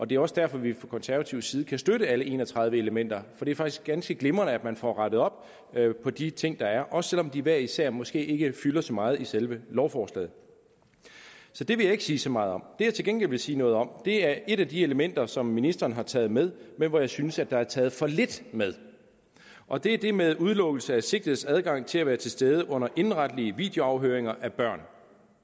det er også derfor at vi fra konservativ side kan støtte alle en og tredive elementer det er faktisk ganske glimrende at man får rettet op på de ting der er også selv om de hver især måske ikke fylder så meget i selve lovforslaget så det vil jeg ikke sige så meget om jeg til gengæld vil sige noget om er et af de elementer som ministeren har taget med men hvor jeg synes der er taget for lidt med og det er det med udelukkelse af sigtedes adgang til at være til stede under indenretlige videoafhøringer af børn